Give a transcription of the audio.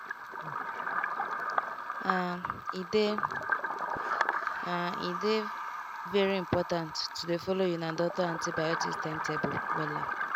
halt ahe dey halt ahe dey very important to dey follow una doctor antibiotics timetable wella.